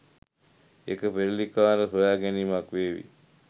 එක පෙරලිකාර සොයාගැනීමක් වේවි.